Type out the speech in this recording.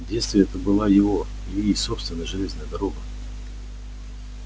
в детстве это была его ильи собственная железная дорога